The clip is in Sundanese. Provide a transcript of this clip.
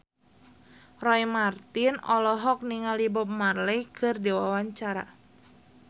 Roy Marten olohok ningali Bob Marley keur diwawancara